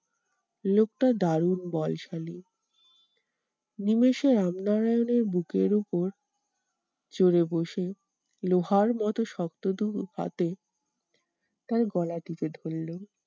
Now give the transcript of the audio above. লোকটা দারুন বলশালী। নিমেষে রামনারায়ণের বুকের উপর চড়ে বসে লোহার মতো শক্ত দুহাতে তার গলা টিপে ধরলেন।